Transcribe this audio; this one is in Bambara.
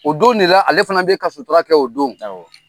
O don de la ale fana bɛ ka sutura kɛ o don awɔ